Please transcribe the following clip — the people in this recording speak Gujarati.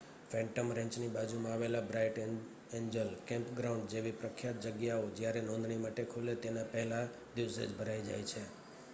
ફેન્ટમ રેંચની બાજુમાં આવેલા બ્રાઇટ એન્જલ કેમ્પગ્રાઉન્ડ જેવી પ્રખ્યાત જગ્યાઓ જયારે નોંધણી માટે ખુલે તેના પહેલા દિવસે જ ભરાય જાય છે